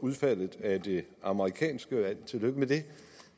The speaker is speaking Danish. udfaldet af det amerikanske valg tillykke med det